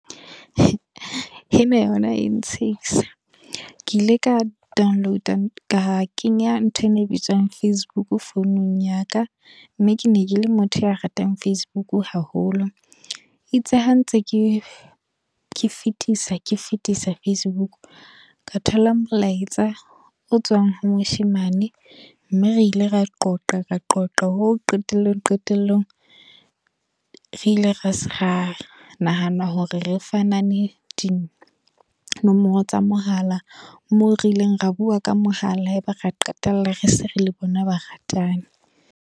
E na yona ya ntshehisa. Ke ile ka download, ka kenya ntho ena e bitswang Facebook founung ya ka. Mme ke ne ke le motho ya ratang Facebook haholo. E itse ha ntse ke ke fetisa, ke fetisa Facebook. Ka thola molaetsa, o tswang ho moshemane. Mme re ile ra qoqa ra qoqa ho qetellong qetellong. Re ile ra nahana hore re fanane dinomoro tsa mohala. Moo re ileng ra bua ka mohala, ya ba ra qetella re se re le bona ba ratani.